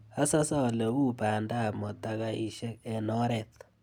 Asase ole uu bandap motakaishek eng oret.